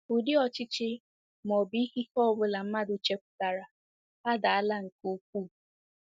Ụdị ọchịchị ma ọ bụ ikike ọ bụla mmadụ chepụtara adaala nke ukwuu.